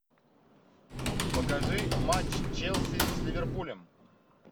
покажи матч челси с ливерпулем